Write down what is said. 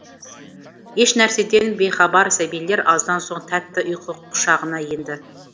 ешнәрседен бейхабар сәбилер аздан соң тәтті ұйқы құшағына енді